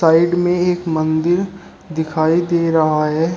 Side में एक मंदिर दिखाई दे रहा है।